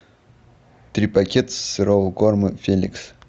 три пакета сырого корма феликс